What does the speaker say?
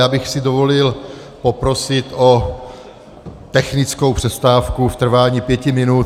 Já bych si dovolil poprosit o technickou přestávku v trvání pěti minut.